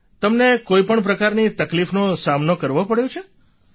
તમને કોઈ પણ પ્રકારની તકલીફનો સામનો કરવો પડ્યો છે શું